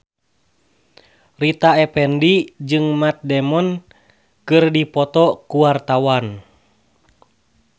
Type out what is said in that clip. Rita Effendy jeung Matt Damon keur dipoto ku wartawan